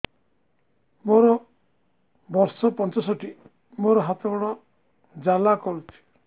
ମୋର ବର୍ଷ ପଞ୍ଚଷଠି ମୋର ହାତ ଗୋଡ଼ ଜାଲା କରୁଛି